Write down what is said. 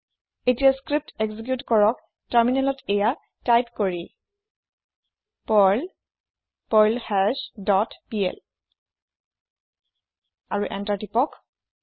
এতিয়া script execute কৰক তাৰমিনেলত এইয়া টাইপ কৰি পাৰ্ল পাৰ্লহাছ ডট পিএল আৰু এন্তাৰ প্ৰেছ কৰক